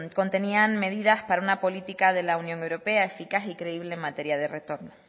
contenían medidas para una política de la unión europea eficaz y creíble en materia de retorno